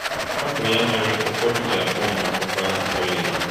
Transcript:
Ọ bụ ya mere ụfọdụ ji akpọ akwụkwọ ahụ Ọlaedo.